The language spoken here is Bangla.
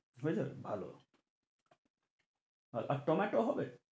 বুঝেছ তো ভালো আর টম্যাটো হবে?